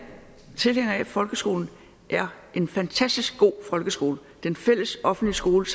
at folkeskolen er en fantastisk god folkeskole den fælles offentlige skole